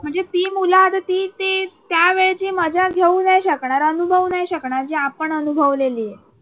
म्हणजे ती मुलं आता ती ते त्या वेळची मजा घेऊ नाही शकणार अनुभवू नाही शकणार जी आपण अनुभवलेलीये.